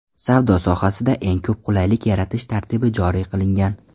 Savdo sohasida eng ko‘p qulaylik yaratish tartibi joriy qilingan.